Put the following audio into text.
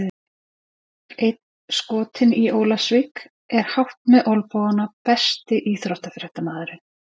Einn skotinn í Ólafsvík er hátt með olnbogana Besti íþróttafréttamaðurinn?